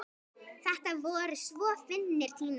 Þetta voru svo fyndnir tímar.